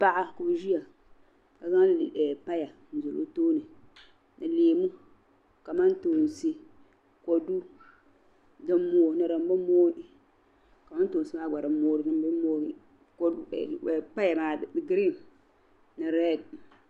Paɣa ka ozyia kazaŋ paya zali o tooni. ni leemu kamantoonsi kodu dinmooi. ni dimbi mooi. kamantoonsi maa gba. dinmooi n i dinm bi mooi paya maa green ni read